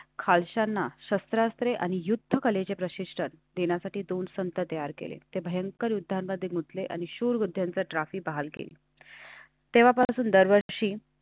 खालच्यांना शस्त्रास्त्रे आणि युद्धकलेचे प्रशिक्षण देण्यासाठी दोन संत तयार केले ते भयंकर युद्धामध्ये गुंतले आणि शूरविधा TROPHY बहाल केली तेव्हापासून दरवर्षी